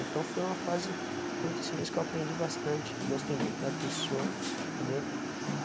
Então foi uma fase curta assim, mas que eu aprendi bastante, gostei muito da pessoa, entendeu?